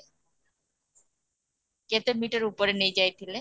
କେତେ ମିଟର ଉପରେ ନେଇଯାଇଥିଲେ